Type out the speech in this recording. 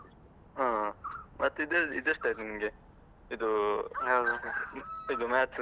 ಹ ಹ. ಮತ್ತೆ ಇದ್ ಇದೆಷ್ಟಯ್ತು ನಿನ್ಗೆ? ಇದೂ ಇದು Maths .